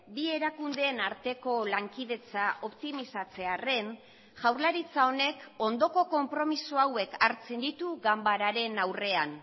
bi erakundeen arteko lankidetza optimizatzearren jaurlaritza honek ondoko konpromiso hauek hartzen ditu ganbararen aurrean